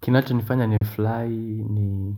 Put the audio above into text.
Kinacho nifanya ni fly ni